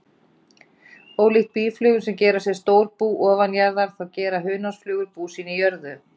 Ólíkt býflugum sem gera sér stór bú ofanjarðar, þá gera hunangsflugur bú sín í jörðu.